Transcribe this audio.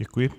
Děkuji.